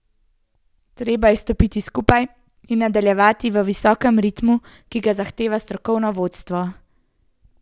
Treba je stopiti skupaj in nadaljevati v visokem ritmu, ki ga zahteva strokovno vodstvo.